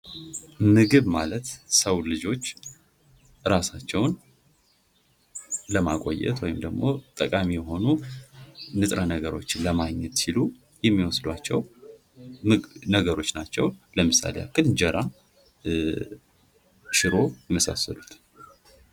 ምግብ ማለት የሰዉ ልጆች እራሳቸዉን ለማቆየት ወይም ደግሞ ጠቃሚ የሆኑ ንጥረ ነገሮችን ለማግኘት ሲሉ የሚወስዷቸዉ ነገሮች ናቸዉ። ለምሳሌ:-እንጀራ፣ ሽሮ የመሳሰሉት።